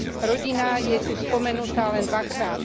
Rodina je tu spomenutá len dvakrát.